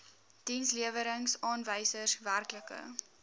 dienslewerings aanwysers werklike